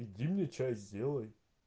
иди мне чай сделай